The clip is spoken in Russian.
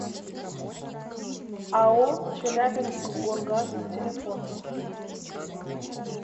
ао челябинскгоргаз телефон